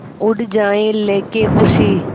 उड़ जाएं लेके ख़ुशी